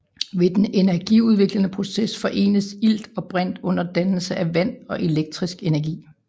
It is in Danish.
Ved den energiudviklende proces forenes ilt og brint under dannelse af vand og elektrisk energi